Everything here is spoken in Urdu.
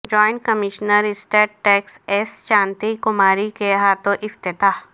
joint commissioner state tax S Shanti Kumari کے ہاتھوں افتتاح